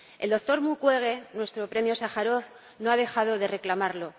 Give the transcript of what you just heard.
El doctor Mukwege, nuestro premio Sájarov, no ha dejado de reclamarlo.